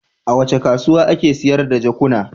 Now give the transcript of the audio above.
A wace kasuwa ake sayar da jakuna?